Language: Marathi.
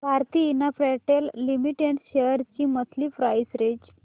भारती इन्फ्राटेल लिमिटेड शेअर्स ची मंथली प्राइस रेंज